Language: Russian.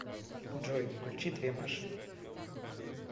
джой включи две маши